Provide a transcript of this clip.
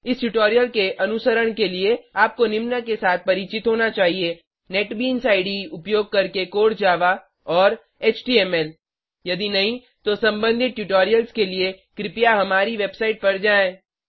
इस ट्यूटोरियल के अनुसरण के लिए आपको निम्न के साथ परिचित होना चाहिए नेटबीन्स इडे उपयोग करके कोर जावा और एचटीएमएल यदि नहीं तो सम्बंधित ट्यूटोरियल्स के लिए कृपया हमारी वेबसाइट पर जाएँ